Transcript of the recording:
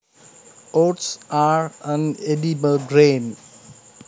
Oats are an edible grain